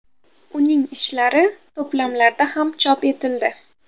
Uning ishlari to‘plamlarda ham chop etildi.